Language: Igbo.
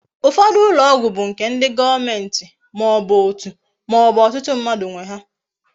Ufodu ulo ogwu bu nke ndi goomenti ma obu otu ma obu otutu mmadu nwe ha